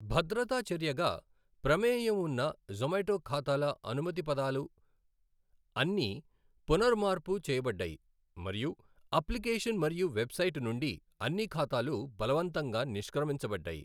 భద్రతా చర్యగా, ప్రమేయం ఉన్న జొమాటో ఖాతాల అనుమతిపదాలు అన్నీ పునరమర్పు చేయబడ్డాయి మరియు అప్లికేషన్ మరియు వెబ్సైట్ నుండి అన్ని ఖాతాలు బలవంతంగా నిష్క్రమించబడ్డాయి.